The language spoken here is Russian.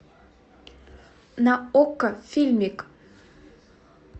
на окко фильмик